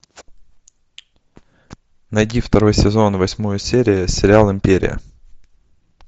найди второй сезон восьмую серию сериал империя